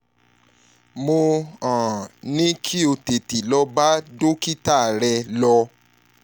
mo um ní kí o tètè lọ bá dókítà rẹ̀ lọ